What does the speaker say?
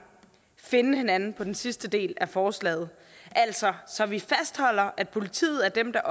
finde hinanden på den sidste del af forslaget altså så vi fastholder at politiet er dem der